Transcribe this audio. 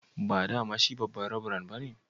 Ba dama shi babba'n revran ba ne?